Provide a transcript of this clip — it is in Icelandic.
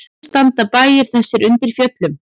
Allir standa bæir þessir undir fjöllum.